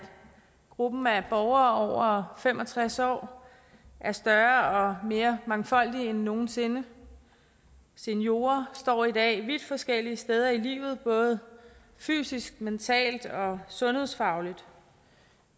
gruppen af borgere over fem og tres år er større og mere mangfoldig end nogen sinde seniorer står i dag vidt forskellige steder i livet både fysisk mentalt og sundhedsfagligt